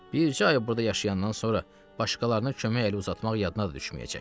Bircə ay burda yaşayandan sonra başqalarına kömək əli uzatmaq yadına da düşməyəcək.